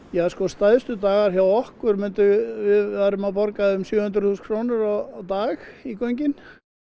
ja sko stærstu dagar hjá okkur við værum að borga um sjö hundruð þúsund krónur á dag í göngin